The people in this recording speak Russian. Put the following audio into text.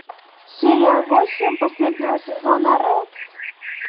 серия восемь последнего сезона рекс